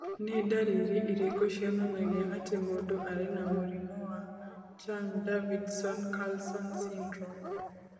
Nĩ ndariri irĩkũ cionanagia atĩ mũndũ arĩ na mũrimũ wa Chang Davidson Carlson syndrome?